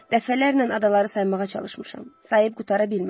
Dəfələrlə adaları saymağa çalışmışam, sayıb qutara bilməmişəm.